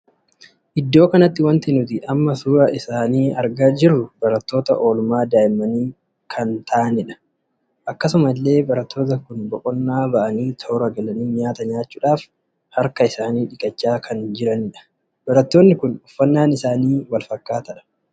Iddoo kanatti wanti nuti amma suuraa isaanii argaa jirru barattoota oolmaan daa'imminii kan taa'aniidha. akkasuma illee barattoonni kun boqonnaa baa'anii toora galanii nyaata nyaachuudhaaf harka isaanii dhiqachaa kan jiranidha. barattoonni kun uffannaan isaanii wal fakkaataadha.